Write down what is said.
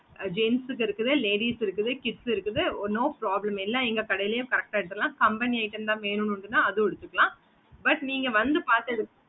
gens இருக்குது ladies இருக்குது kids இருக்குது no problem எல்லா எங்க கடையிலே correct ஆஹ் எடுத்துதலா company item தா வேணும் அப்படினா அதுவும் எடுத்ததால but நீங்க வந்து பாத்து இருக்கணும்